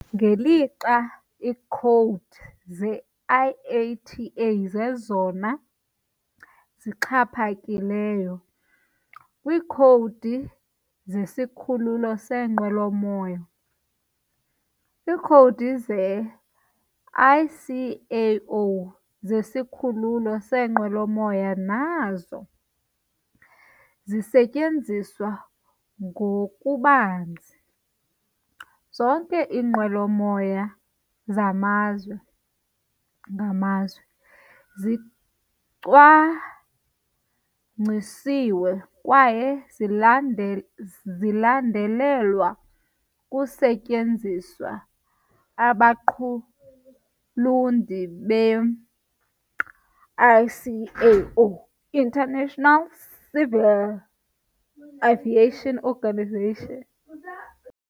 Ngelixa iikhowudi ze-IATA zezona zixhaphakileyo kwiikhowudi zesikhululo seenqwelomoya, iikhowudi ze-ICAO zesikhululo seenqwelomoya nazo zisetyenziswa ngokubanzi. Zonke iinqwelomoya zamazwe ngamazwe zicwangcisiwe kwaye zilandel zilandelelwa kusetyenziswa abaqulunqi be-ICAO, International Civil Aviation Organisation.